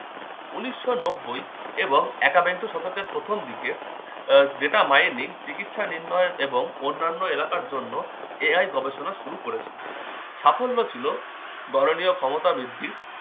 উনিশশো নব্বই এবং একাবিংশ শতকের প্রথম দিকে আহ data mining চিকিৎসা নির্ণয় এবং অন্যান্য এলাকার জন্য AI গবেষণা শুরু করেছিল। সাফল্য ছিল গরনীয় ক্ষমতা বৃদ্ধি